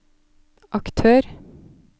aktør